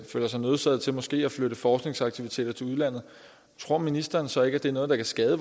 føler sig nødsaget til måske at flytte forskningsaktiviteter til udlandet tror ministeren så ikke at det er noget der kan skade